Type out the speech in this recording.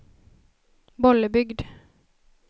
Bollebygd